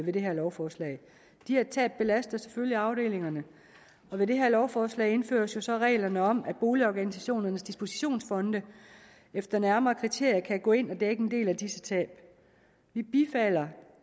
med det her lovforslag de her tab belaster selvfølgelig afdelingerne og med det her lovforslag indføres der så reglerne om at boligorganisationernes dispositionsfonde efter nærmere kriterier kan gå ind og dække en del af disse tab vi bifalder